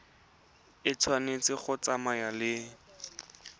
e tshwanetse go tsamaya le